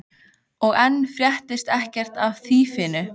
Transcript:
Og enn fréttist ekkert af þýfinu.